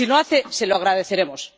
Si lo hace, se lo agradeceremos.